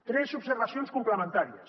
tres observacions complementàries